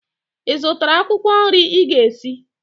Ị zụtara akwụkwọ nri ị ga-esi?